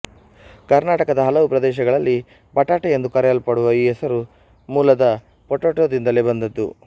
ಕರ್ನಾಟಕದ ಹಲವು ಪ್ರದೇಶಗಲ್ಲಿ ಬಟಾಟೆ ಎಂದು ಕರೆಯಲ್ಪಡುವ ಈ ಹೆಸರು ಮೂಲದ ಪೊಟಾಟೋದಿಂದಲೇ ಬಂದದ್ದು